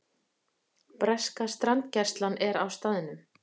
Breska strandgæslan er á staðnum